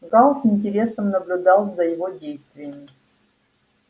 гаал с интересом наблюдал за его действиями